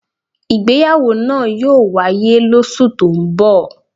Ìgbéyàwó náà yóò wáyé lósù tó ń bọ̀.